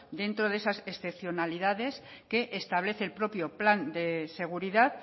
dentro de esas excepcionalidades que establece el propio plan de seguridad